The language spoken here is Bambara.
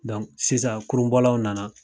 sisan kurunbɔlaw nana